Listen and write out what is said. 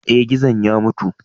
Eh, gizon ya mutu.